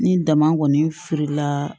Ni dama kɔni feerela